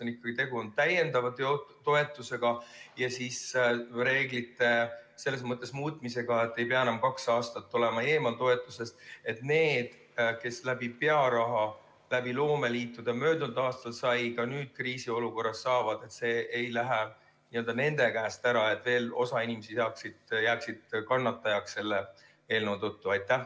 Kas ikkagi on tegu täiendava toetusega ja reeglite selles mõttes muutmisega, et ei pea enam kaks aastat olema toetusest ilma, et need, kes pearaha põhjal loomeliitude kaudu möödunud aastal said, seda ka nüüd kriisiolukorras saavad, see ei lähe nende käest ära, nii et osa inimesi jääksid kannatajaks selle eelnõu tõttu?